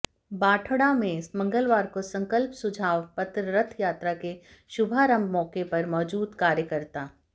बाढड़ा में मंगलवार को संकल्प सुझाव पत्र रथ यात्रा के शुभारंभ मौके पर मौजूद कार्यकर्ता